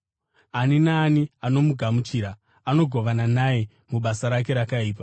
Ani naani anomugamuchira anogovana naye mubasa rake rakaipa.